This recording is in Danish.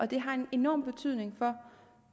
det har en enorm betydning for